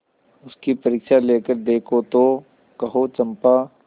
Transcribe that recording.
उसकी परीक्षा लेकर देखो तो कहो चंपा